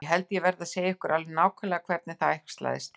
Ég held ég verði að segja ykkur alveg nákvæmlega hvernig það æxlaðist til.